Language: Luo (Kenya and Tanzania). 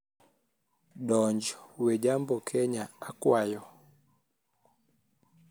donj we jambo kenya akwayo